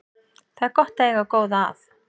Það er gott að eiga góða að.